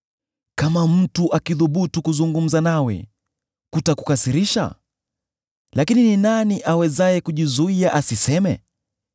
“Kama mtu akithubutu kuzungumza nawe, kutakukasirisha? Lakini ni nani awezaye kujizuia asiseme?